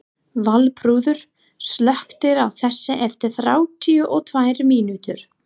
Valþrúður, slökktu á þessu eftir þrjátíu og tvær mínútur.